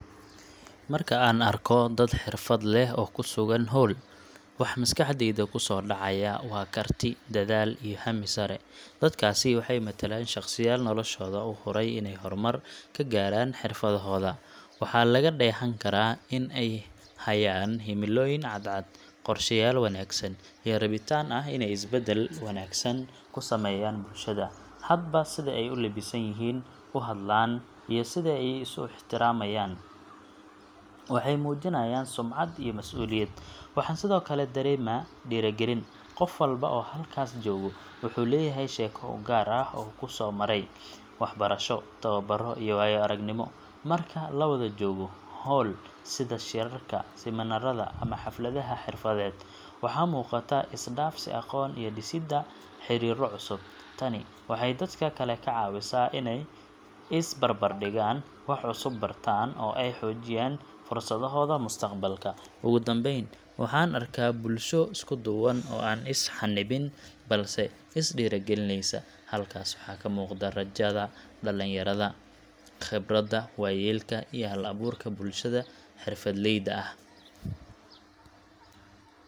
Marka aan arko dad xirfad leh oo ku sugan hool, waxa maskaxdayda ku soo dhacaya waa karti, dadaal, iyo hammi sare. Dadkaasi waxay matalaan shaqsiyaal noloshooda u huray inay horumar ka gaaraan xirfadahooda. Waxaa laga dheehan karaa in ay hayaan himilooyin cadcad, qorsheyaal wanaagsan, iyo rabitaan ah inay isbedel wanaagsan ku sameeyaan bulshada. Hadba sida ay u labisan yihiin, u hadlaan, iyo sida ay isu ixtiraamaan, waxay muujinayaan sumcad iyo masuuliyad. Waxaan sidoo kale dareemaa dhiirrigelin qof walba oo halkaas jooga wuxuu leeyahay sheeko u gaar ah oo uu kusoo maray, waxbarasho, tababaro, iyo waayo-aragnimo. Marka la wada joogo hool, sida shirarka, seminaarada ama xafladaha xirfadeed, waxaa muuqata is-dhaafsi aqoon iyo dhisidda xiriirro cusub. Tani waxay dadka kale ka caawisaa inay is barbardhigaan, wax cusub bartaan, oo ay xoojiyaan fursadahooda mustaqbalka. Ugu dambayn, waxaan arkaa bulsho isku duuban oo aan is xannibin, balse is dhiirogelinaysa. Halkaas waxaa ka muuqda rajada dhalinyarada, khibradda waayeelka, iyo hal-abuurka bulshada xirfadleyda ah.